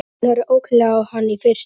Hann horfir ókunnuglega á hann í fyrstu.